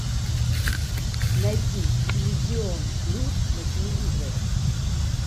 найди иллюзион плюс на телевизоре